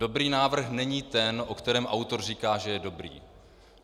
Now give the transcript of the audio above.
Dobrý návrh není ten, o kterém autor říká, že je dobrý.